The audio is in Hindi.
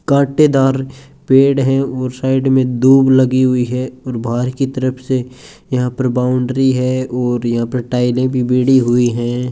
कांटेदार पेड़ है और साइड में दूब लगी हुई है और बाहर की तरफ से यहां पर बाउंड्री है और यहाँ पर टाइलें भी बीड़ी हुई है।